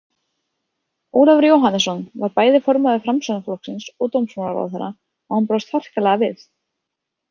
Ólafur Jóhannesson var bæði formaður Framsóknarflokksins og dómsmálaráðherra og hann brást harkalega við.